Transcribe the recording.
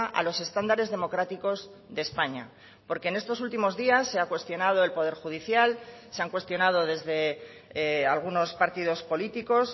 a los estándares democráticos de españa porque en estos últimos días se ha cuestionado el poder judicial se han cuestionado desde algunos partidos políticos